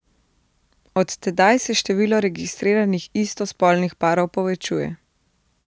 Od tedaj se število registriranih istospolnih parov povečuje.